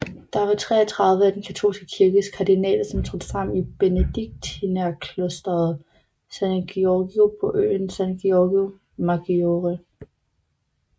Der var 33 af Den katolske kirkes kardinaler som trådte sammen i benediktinerklosteret San Giorgio på øen San Giorgio Maggiore